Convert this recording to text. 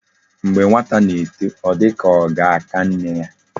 Mgbe nwata na eto o di ka oga aka nne ya